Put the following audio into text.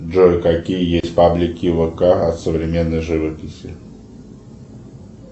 джой какие есть паблики вк о современной живописи